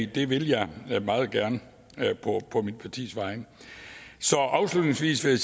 det vil jeg jeg meget gerne på mit partis vegne så afslutningsvis vil